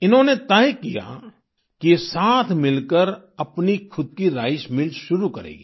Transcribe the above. इन्होंने तय किया कि ये साथ मिलकर अपनी खुद की राइस मिल शुरू करेंगी